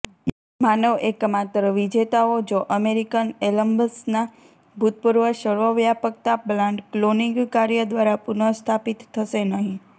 માનવ એકમાત્ર વિજેતાઓ જો અમેરિકન એલમ્સના ભૂતપૂર્વ સર્વવ્યાપકતા પ્લાન્ટ ક્લોનિંગ કાર્ય દ્વારા પુનઃસ્થાપિત થશે નહીં